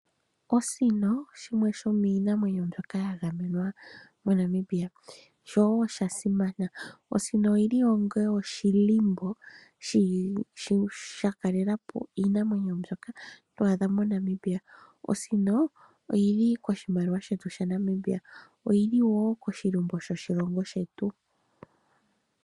Osino, oshimwe shomiinamwenyo mbyoka ya gamenwa moNamibia, sho osha simama. Osino oyi li oshilimbo sha kalela po iinamwenyo mbyoka to adha moNamibia. Osino, oyi li koshimaliwa shetu shaNamibia na oyi li wo koshilimbo shoshilongo shetu.